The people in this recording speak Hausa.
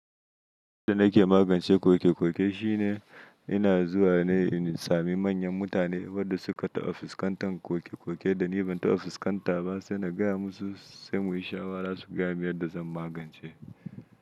Abin da nake magance koke-koke shine ina zuwa ne in sami manyan mutane wadda suka ta fuskantar koke-koke da ni ban ta fuskantaba sai na gaya musu sai mu yi shawara su gayamin yadda zan magance.